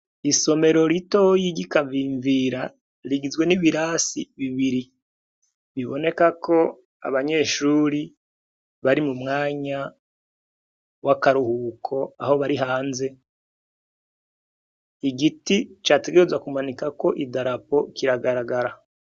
Isomero ritoyiga ikavimvira rigizwe n'ibirasi bibiri biboneka ko abanyeshuri bari mu mwanya w'akaruhuko aho bari hanze igiti categereza kumanika ko i darapo kiragaragara.